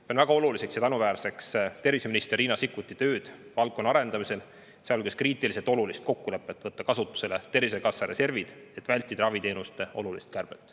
Pean väga oluliseks ja tänuväärseks terviseminister Riina Sikkuti tööd valdkonna arendamisel, sealhulgas kriitiliselt olulist kokkulepet võtta kasutusele Tervisekassa reservid, et vältida raviteenuste suurt kärbet.